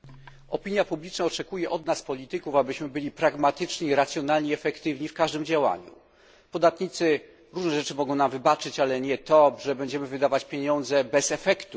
Opinia publiczna oczekuje od nas, polityków, abyśmy byli pragmatyczni i racjonalni, efektywni w każdym działaniu. Podatnicy różne rzeczy mogą nam wybaczyć, ale nie to, że będziemy wydawać ich pieniądze bez efektów.